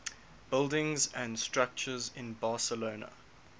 buildings and structures in barcelona